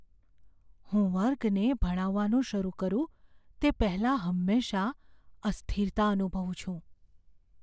હું વર્ગને ભણાવવાનું શરૂ કરું તે પહેલાં હંમેશાં અસ્થિરતા અનુભવું છું.